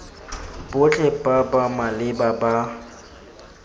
botlhe ba ba maleba ba